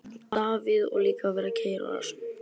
Davíð: Og líka að vera að keyra á rassinum.